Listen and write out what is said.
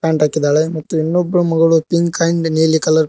pant ಹಾಕಿದಾಳೆ ಮತ್ತು ಇನ್ನೊಬ್ರು ಮಗಳು ಪಿಂಕ್ ಅಂಡ್ ನೀಲಿ ಕಲರ್ --